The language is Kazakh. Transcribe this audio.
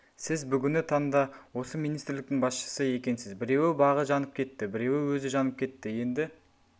сіз бүгіні таңда осы министрліктің басшысы екенсіз біреуі бағы жанып кетті біреуі өзі жанып кетті енді